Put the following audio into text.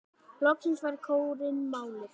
Loksins fær kórinn málið.